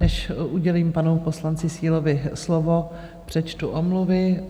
Než udělím panu poslanci Sílovi slovo, přečtu omluvy.